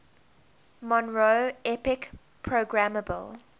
monroe epic programmable